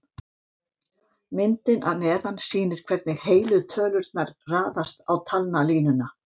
Myndin að neðan sýnir hvernig heilu tölurnar raðast á talnalínuna.